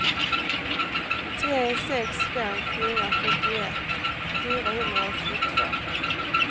tre sex fem fyra sjuttioett fyrahundraåttiotvå